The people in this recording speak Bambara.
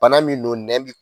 Bana min don nɛn bi